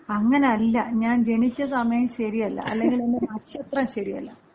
അങ്ങനല്ല. ഞാൻ ജനിച്ച സമയം ശരിയല്ല. അല്ലെങ്കി എന്‍റെ നക്ഷത്രം ശരിയല്ല.